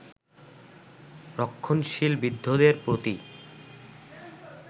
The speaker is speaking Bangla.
রক্ষণশীল বৃদ্ধদের প্রতি